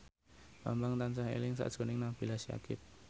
Bambang tansah eling sakjroning Nabila Syakieb